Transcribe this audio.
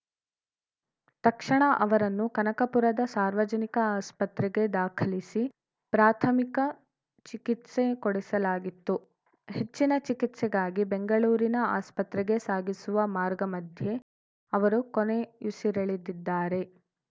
ತಕ್ಷಣ ಅವರನ್ನು ಕನಕಪುರದ ಸಾರ್ವಜನಿಕ ಆಸ್ಪತ್ರೆಗೆ ದಾಖಲಿಸಿ ಪ್ರಾಥಮಿಕ ಚಿಕಿತ್ಸೆ ಕೊಡಿಸಲಾಗಿತ್ತು ಹೆಚ್ಚಿನ ಚಿಕಿತ್ಸೆಗಾಗಿ ಬೆಂಗಳೂರಿನ ಆಸ್ಪತ್ರೆಗೆ ಸಾಗಿಸುವ ಮಾರ್ಗಮಧ್ಯೆ ಅವರು ಕೊನೆಯುಸಿರೆಳೆದಿದ್ದಾರೆ